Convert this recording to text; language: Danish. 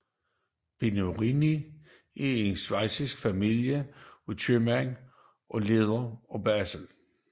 Bernoulli er en schweizisk familie af købmænd og lærde fra Basel